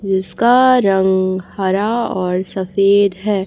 जिसका रंग हरा और सफेद है।